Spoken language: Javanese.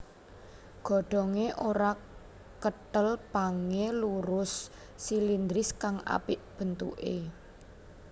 Godhongé ora kethel pangé lurus silindris kang apik bentuké